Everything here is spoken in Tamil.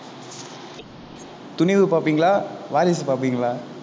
துணிவு பார்ப்பீங்களா வாரிசு பார்ப்பீங்களா